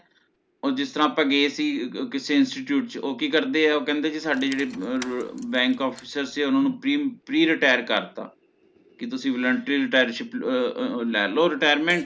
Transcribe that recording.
ਓਹ ਜਿਸ ਤਰਹ ਅਪਾ ਗਏ ਸੀ ਕਿਸੇ institute ਤੇ ਓਹ ਕੀ ਕਰਦੇ ਹੈ ਓਹਦੇ ਚ ਸਾਡੇ ਜੇੜੇ ਅਹ banks officers ਸੀ ਓਹਨਾ ਨੂ Pre Pre Retire ਕਰਤਾ ਕੀ ਤੁਸੀਂ voluntary retirement ਅਹ ਅਹ ਲੇਲੋ Retirement